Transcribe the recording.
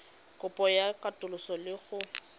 kopo ya katoloso le go